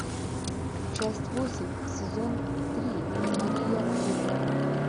часть восемь сезон три мария холик